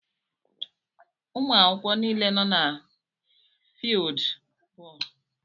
Umuakwukwo niile nọ na fieeldú bóólú.